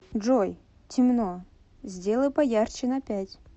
джой темно сделай поярче на пять